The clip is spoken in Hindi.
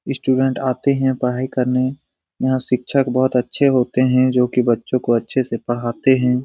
स्टूडेंट आते हैं पढ़ाई करने यहाँ शिक्षक बहुत अच्छे होते हैं जोकि बच्चों को अच्छे से पढ़ाते है।